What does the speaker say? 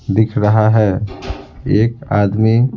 दिख रहा है एक आदमी--